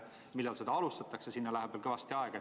Millal seda alustatakse, sinna läheb veel kõvasti aega.